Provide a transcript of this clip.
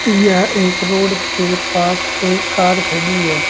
यह एक रोड के पास एक कार खड़ी है।